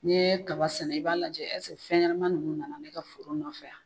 Ni ye kaba sɛnɛ i b'a lajɛ ɛseke fɛn ɲɛnɛma nunnu nana ne ka foro nɔfɛ yan